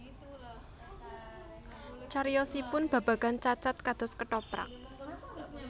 Cariyosipun babagan Cacad kados kethoprak